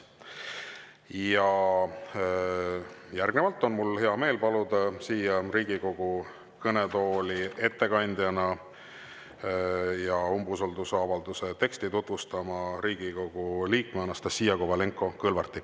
Ja järgnevalt on mul hea meel paluda siia Riigikogu kõnetooli umbusaldusavalduse teksti tutvustama Riigikogu liikme Anastassia Kovalenko-Kõlvarti.